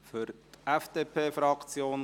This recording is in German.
– Für die FDP-Fraktion: